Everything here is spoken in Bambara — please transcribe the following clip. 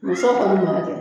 Muso kɔni nɔ tɛ